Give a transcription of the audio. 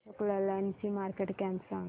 अशोक लेलँड ची market cap सांगा